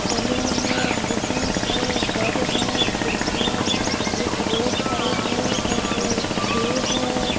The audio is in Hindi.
सलून है बुटीक है घर है खिड़किया है एक रोड साइड का कलर ग्रे है।